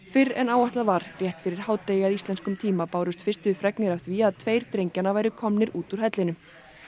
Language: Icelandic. fyrr en áætlað var rétt fyrir hádegi að íslenskum tíma bárust fyrstu fregnir af því að tveir drengjanna væru komnir út úr hellinum